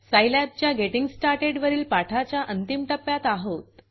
सिलाब च्या getting started वरील पाठाच्या अंतिम टप्प्यात आहोत